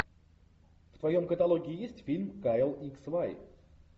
в твоем каталоге есть фильм кайл икс вай